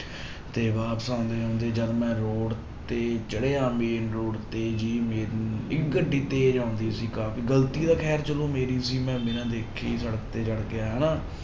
ਤੇ ਵਾਪਸ ਆਉਂਦੇ ਆਉਂਦੇ ਜਦ ਮੈਂ road ਤੇ ਚੜ੍ਹਿਆ main road ਤੇ ਜੀ ਮੇ ਇੱਕ ਗੱਡੀ ਤੇਜ ਆਉਂਦੀ ਸੀ ਕਾਫ਼ੀ, ਗ਼ਲਤੀ ਤਾਂ ਖੈਰ ਚਲੋ ਮੇਰੀ ਸੀ ਮੈਂ ਬਿਨਾਂ ਦੇਖੇ ਹੀ ਸੜਕ ਤੇ ਚੜ੍ਹ ਗਿਆ ਹਨਾ।